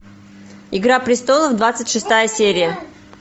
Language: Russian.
игра престолов двадцать шестая серия